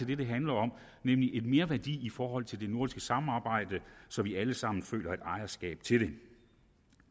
det det handler om nemlig en merværdi i forhold til det nordiske samarbejde så vi alle sammen føler et ejerskab til det